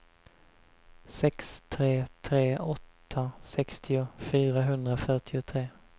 sex tre tre åtta sextio fyrahundrafyrtiotre